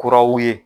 Kuraw ye